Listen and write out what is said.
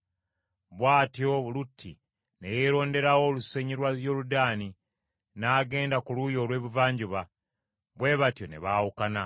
Bw’atyo Lutti ne yeeronderawo olusenyi lwa Yoludaani n’agenda ku luuyi olw’ebuvanjuba; bwe batyo ne baawukana.